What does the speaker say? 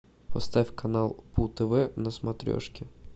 поставь канал пу тв на смотрешке